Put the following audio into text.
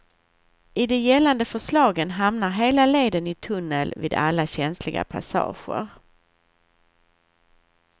I de gällande förslagen hamnar hela leden i tunnel vid alla känsliga passager.